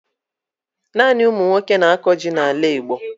Naanị umunwoke na-ako jị na ala igbo